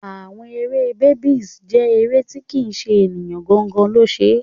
Àwọn eré Barbie jẹ́ eré tí kì ṣe ènìyàn gangan lo ṣe.